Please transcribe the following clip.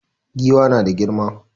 Giwa na da girma